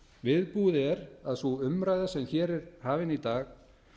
viðbúið er að sú umræða sem hér er hafin í dag